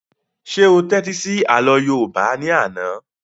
Ṣé o tẹ́tí sí àlọ́ yóòbá ní àná?